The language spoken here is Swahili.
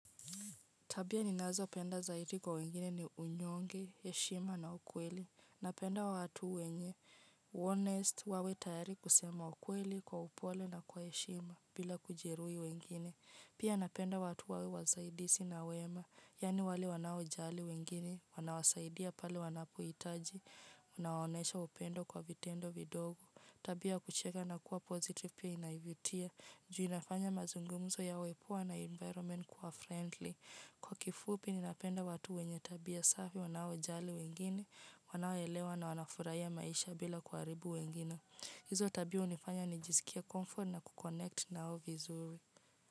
Tabia ninazopenda zaidi kwa wengine ni unyonge, heshima na ukweli. Napenda watu wenye waaminifu wawe tayari kusema ukweli kwa upole na kwa heshima bila kujeruhi wengine. Pia napenda watu wawe wasaidisi na wema. Yani wale wanaojali wengine, wanawasaidia pale wanapohitaji. Wanaonesha upendo kwa vitendo vidogo. Tabia kucheka na kuwa mchangamfu pia inavutia. Ju inafanya mazungumzo yawe poa na mazingira kuwa ya kirafiki. Kwa kifupi, ninapenda watu wenye tabia safi wanaojali wengine, wanaoelewa na wanafurahia maisha bila kuharibu wengine. Hizo tabia hunifanya nijizikie mtulivu na kushirikiana nao vizuri.